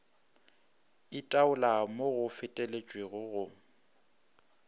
itaola mo go feteletšego go